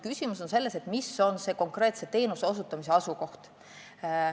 Küsimus on selles, milline on konkreetse teenuse osutamise asukoht.